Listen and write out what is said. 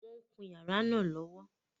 Wọ́n ń kun yàrá náà lọ́wọ́lọ́wọ́